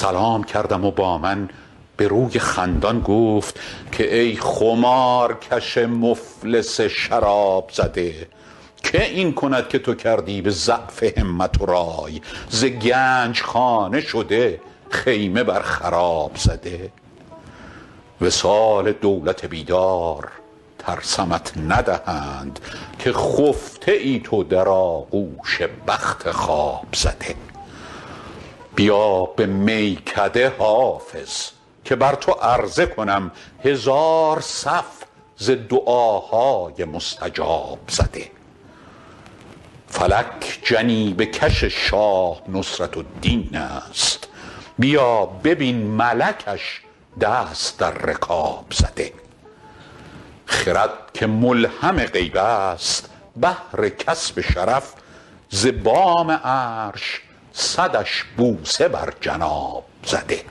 سلام کردم و با من به روی خندان گفت که ای خمارکش مفلس شراب زده که این کند که تو کردی به ضعف همت و رای ز گنج خانه شده خیمه بر خراب زده وصال دولت بیدار ترسمت ندهند که خفته ای تو در آغوش بخت خواب زده بیا به میکده حافظ که بر تو عرضه کنم هزار صف ز دعاهای مستجاب زده فلک جنیبه کش شاه نصرت الدین است بیا ببین ملکش دست در رکاب زده خرد که ملهم غیب است بهر کسب شرف ز بام عرش صدش بوسه بر جناب زده